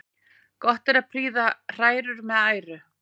Gott er að prýða hrærur með æru.